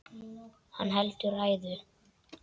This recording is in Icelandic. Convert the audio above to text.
Hann heldur ræðu.